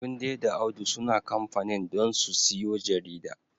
Tunde da Audu suna kamfanin don su siyo jarida.